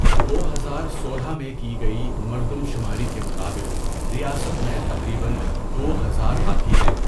دو ہزار سولہ میں کی گئی مردم شماری کے مطابق ریاست میں تقریباً دو ہزار ہاتھی ہیں۔